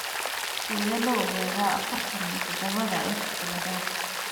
Sidee loo ogaadaa afartan iyo toodba XXX ciladod?